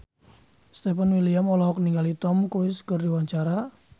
Stefan William olohok ningali Tom Cruise keur diwawancara